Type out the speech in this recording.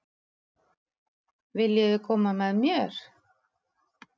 Viljiði koma með mér?